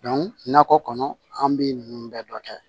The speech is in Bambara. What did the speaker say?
nakɔ kɔnɔ an bi ninnu bɛɛ dɔ kɛ